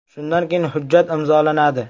Shundan keyin hujjat imzolanadi.